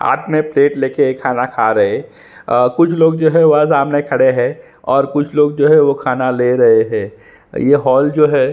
हाथ में प्लेट ले के खाना खा रहे है अ कुछ लोग जो है वह सामने खड़े है और कुछ लोग जो है खाना ले रहे है ये हॉल जो है--